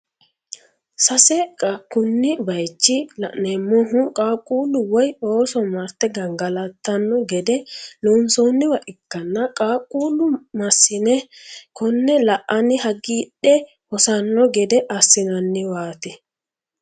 sesa kuni bayiichi la'neemohu qaaquulu woye ooso marte gangalatanno gede lonsooniwa ikkanna qaqulle masine kone la"anni hagiidhe hosanno gede assinanniwaati.